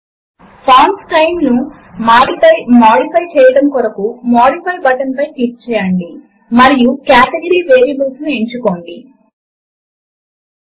మరియు క్రింద మనము కొన్ని మౌలిక గణిత ఆపరేటర్లు అయిన ప్లస్ మైనస్ మల్టిప్లికేషన్ మరియు డివిజన్ వంటి వాటిని చూస్తాము